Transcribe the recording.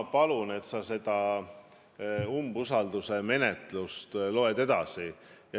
Ma palun, et sa seda umbusalduse menetluse stenogrammi edasi loed.